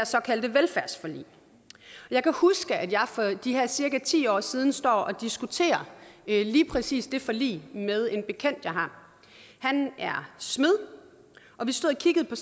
såkaldte velfærdsforlig jeg kan huske at jeg for de her cirka ti år siden står og diskuterer lige præcis det forlig med en bekendt jeg har han er smed vi stod og kiggede på